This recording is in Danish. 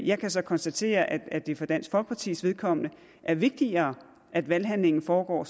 jeg kan så konstatere at at det for dansk folkepartis vedkommende er vigtigere at valghandlingen foregår